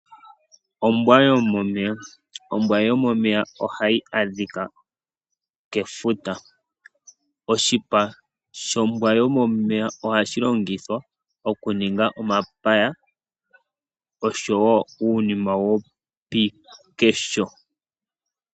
Ombwa yomomeya, Ombwa yo momeya oha yi adhika kefuta, oshipa shombwa yomomeya ohashilongithwa oku ninga omapaya oshowo uunima wopiikesho.